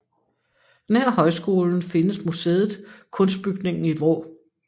Nær Højskolen findes museet Kunstbygningen i Vrå